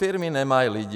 Firmy nemají lidi.